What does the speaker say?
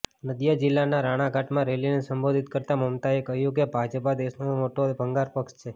નદિયા જીલ્લાના રાણાઘાટમાં રેલીને સંબોધિત કરતા મમતાએ કહ્યું કે ભાજપા દેશનો મોટો ભંગાર પક્ષ છે